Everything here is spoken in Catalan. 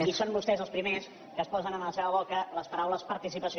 i són vostès els primers que es posen en la seva boca les paraules participació